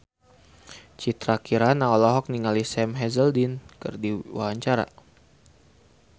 Citra Kirana olohok ningali Sam Hazeldine keur diwawancara